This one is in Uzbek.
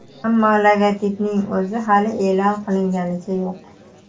Ammo logotipning o‘zi hali e’lon qilinganicha yo‘q.